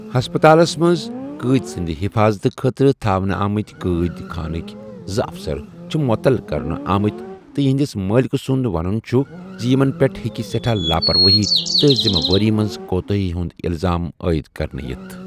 ہسپَتالس منٛز قٲدۍ سٕنٛدِ حِفاضتہٕ خٲطرٕ تھاونہٕ آمٕتۍ قٲدۍ خانٕکۍ زٕ افسر چھِ مُعطل کرنہٕ آمٕتۍ تہٕ یِہنٛدِس مٲلِکہٕ سُنٛد وَنُن چُھ زِ یِمن پیٹھ ' ہیٚکہِ سٮ۪ٹھا لاپروٲیی تہٕ ذِمہٕ وٲری منز كوتٲہی ہُند الزام عٲید كرنہٕ یِتھ ۔